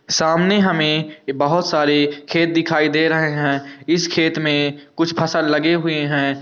सामने हमे बोहत सारे खेत दिखाई दे रहे है इस खेत में कुछ फसल लगे हुए है।